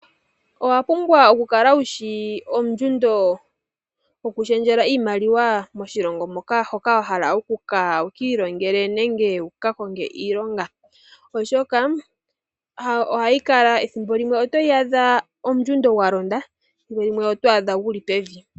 Owapumbwa okukala wushi ondjundo yoku shendjela iimaliwa moshilongo moka wahala okuya wu ki ilonge nenge wu kakonge iilonga oshoka ohayi kala ethimbo limwe otoyi adha ondjundo yalonda, ethimbolimwe oto adha yili pevi.